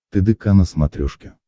тдк на смотрешке